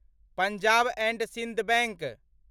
Punjab and Sind bank